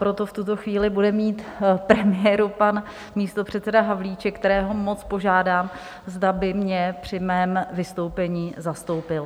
Proto v tuto chvíli bude mít premiéru pan místopředseda Havlíček, kterého moc požádám, zda by mě při mém vystoupení zastoupil.